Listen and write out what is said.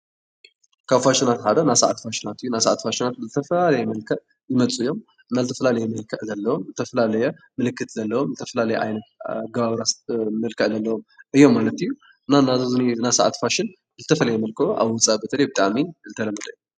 ካብ ፋሽናት ሓደ ናይ ሰዓት ፋሽናት እዩ ።ናይ ሰዓት ፋሽናት ብዝተፈላለየ መልክዕ ዝመፁ እዮም ዝተፈላለየ መልክዕ ዘለዎም ዝተፈላለየ ምልክት ዘለዎም ዝተፈላለየ ዓይነት ኣገባብራ መልክዕ ዘለዎም እዮም ማለት እዩ። እና ኣብዚ ዝኒሀ ናይ ሰዓት ፋሽን ብዝተፈለየ መልክዑ ኣብ ወፃእ በተለይ ብጣዕሚ ዝተለመደ እዩ።